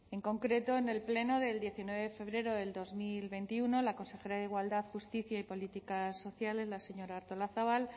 en concreto en el pleno del diecinueve de febrero del dos mil veintiuno la consejera de igualdad justicia y políticas sociales la señora artolazabal